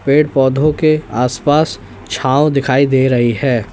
पेड़ पौधों के आसपास छाव दिखाई दे रही है।